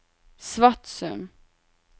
Svatsum